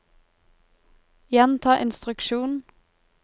gjenta instruksjon